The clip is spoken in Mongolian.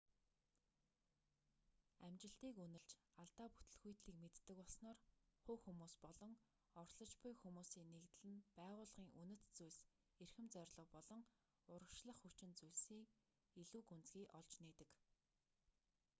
амжилтыг үнэлж алдаа бүтэлгүйтлийг мэддэг болсноор хувь хүмүүс болон оролцож буй хүмүүсийн нэгдэл нь байгууллагын үнэт зүйлс эрхэм зорилго болон урагшлах хүчин зүйлсийг илүү гүнзгий олж нээдэг